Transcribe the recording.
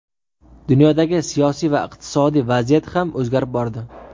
Dunyodagi siyosiy va iqtisodiy vaziyat ham o‘zgarib bordi.